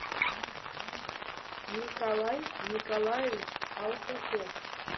николай николаевич алтухов